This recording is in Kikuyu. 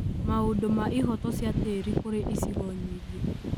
Maũndũ ma ihoto cia tĩri kũrĩ icigo nyingĩ,